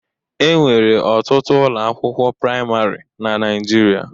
Enwere ọtụtụ ụlọ akwụkwọ praimarị na Naijiria.